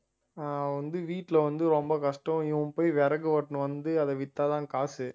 ஆஹ் வந்து வீட்டுல வந்து ரொம்ப கஷ்டம் இவன் போய் விறகு வெட்டின்னு வந்து அதை வித்தாதான் காசு